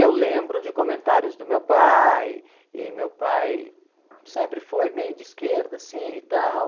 Eu lembro de comentários do meu pai, e meu pai sempre foi meio de esquerda, assim, e tal.